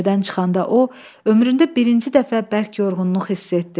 Meşədən çıxanda o, ömründə birinci dəfə bərk yorğunluq hiss etdi.